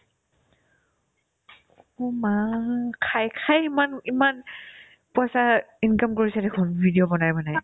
অ' মা ! খাই খাই ইমান ইমান পইচা income কৰিছে দেখোন video বনাই বনাই